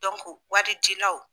wari di law.